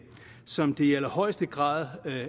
som det i allerhøjeste grad